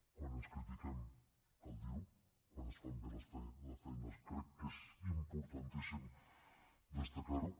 quan ens critiquem cal dir ho quan es fa bé la feina crec que és importantíssim destacar ho